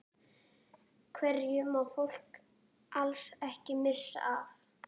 Hverju má fólk alls ekki missa af?